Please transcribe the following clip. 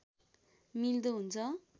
मिल्दो हुन्छ